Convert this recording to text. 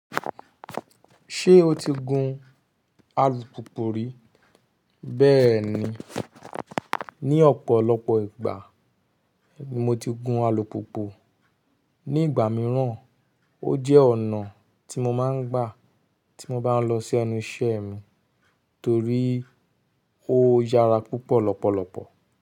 Ṣé o ti gun alùpùpù rí? Bẹ́ẹ̀ni, ní ọ̀pọ̀lọpọ̀ ìgbà mo ti gun alùpùpù. Ní ìgbà míràn, ó jẹ́ ọ̀nà tí mo máa ń gbà tí mo bá ń lọ sí ẹnu iṣẹ́ mi torí ó yára púpọ̀ lọ́pọ̀lọpọ̀.